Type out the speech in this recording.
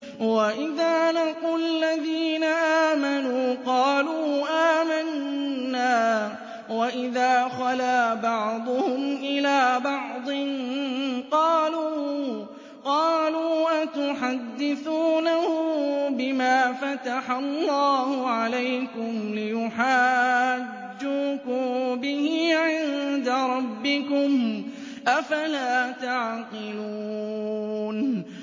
وَإِذَا لَقُوا الَّذِينَ آمَنُوا قَالُوا آمَنَّا وَإِذَا خَلَا بَعْضُهُمْ إِلَىٰ بَعْضٍ قَالُوا أَتُحَدِّثُونَهُم بِمَا فَتَحَ اللَّهُ عَلَيْكُمْ لِيُحَاجُّوكُم بِهِ عِندَ رَبِّكُمْ ۚ أَفَلَا تَعْقِلُونَ